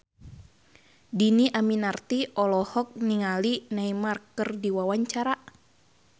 Dhini Aminarti olohok ningali Neymar keur diwawancara